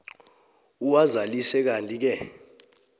uwazalise kantike